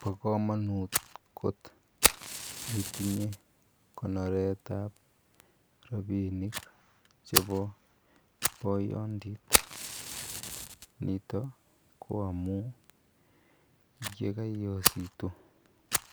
Bokomonut kot itinye konoretab rabinik chebo poyondit nito ko amun yekaiyositu